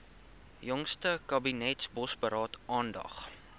jongste kabinetsbosberaad aandag